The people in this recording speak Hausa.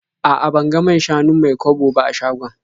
A'a, ban ga man-shanun Mai-kwabo ba a shagon.